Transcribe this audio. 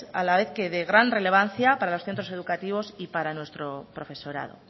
a la vez de que gran relevancia para los centros educativos y para nuestro profesorado